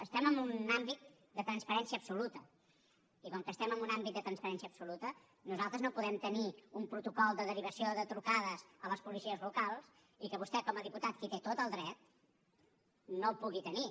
estem en un àmbit de transparència absoluta i com que estem en un àmbit de transparència absoluta nosaltres no podem tenir un protocol de derivació de trucades a les policies locals i que vostè com a diputat que hi té tot el dret no el pugui tenir